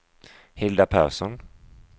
Hilda Persson